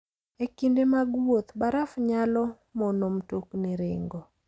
E kinde mag wuoth, baraf nyalo mono mtokni ringo.